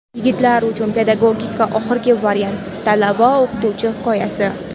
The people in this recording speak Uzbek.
Yigitlar uchun pedagogika oxirgi variant — talaba-o‘qituvchi hikoyasi.